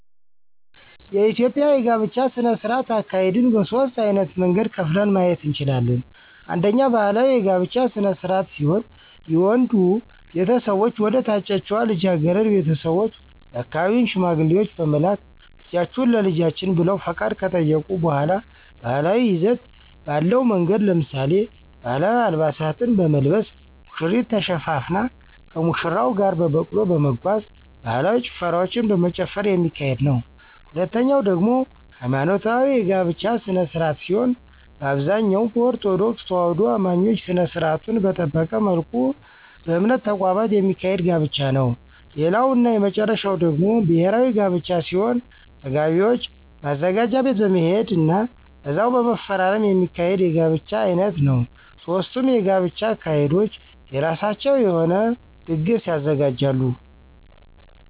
የኢትዮጵያ የጋብቻ ስነ-ስርዓት አካሄድን በሦስት ዓይነት መንገድ ከፍለን ማየት እንችላለን። አንደኛ ባህላዊ የጋብቻ ስነ-ስርዓት ሲሆን የወንዱ ቤተሰቦች ወደ ታጨችዋ ልጃገረድ ቤተሰቦች የአካባቢውን ሽማግሌዎች በመላክ ልጃችሁን ለልጃችን ብለው ፈቃድ ከጠየቁ በሗላ ባህላዊ ይዘት ባለው መንገድ ለምሳሌ፦ ባህላዊ አልባሳትን በመልበስ፣ ሙሽሪት ተሸፋፍና ከሙሽራው ጋር በበቅሎ በመጓጓዝ፣ ባህላዊ ጭፈራዎችን በመጨፈር የሚካሄድ ነዉ። ሁለተኛው ደግሞ ሀይማኖታዊ የጋብቻ ስነ-ስርዓት ሲሆን በአብዛኛው በኦርቶዶክስ ተዋህዶ አማኞች ስነ-ስርዓቱን በጠበቀ መልኩ በእምነት ተቋማት የሚካሄድ ጋብቻ ነዉ። ሌላው እና የመጨረሻው ደግሞ ብሔራዊ ጋብቻ ሲሆን ተጋቢዎች ማዘጋጃ ቤት በመሄድ ና እዛው በመፈራረም የሚካሄድ የጋብቻ ዓይነት ነዉ። ሦስቱም የጋብቻ አካሄዶች የራሳቸው የሆነ ድግስ ያዘጋጃሉ።